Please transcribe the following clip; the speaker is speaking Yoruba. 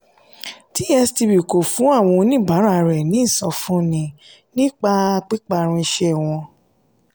tstv kò fún oníbàárà ní ìsọfúnni nípa píparun iṣẹ́ wọn.